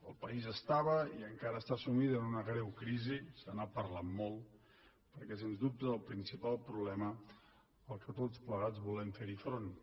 el país estava i encara està sumit en una greu crisi se n’ha parlat molt perquè sens dubte és el principal problema al qual tots plegats volem fer front